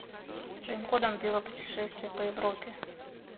своим ходом велопутешествие по европе